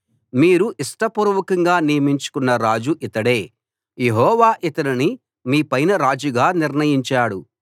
మీరు ఇష్టపూర్వకంగా నియమించుకొన్న రాజు ఇతడే యెహోవా ఇతనిని మీపైన రాజుగా నిర్ణయించాడు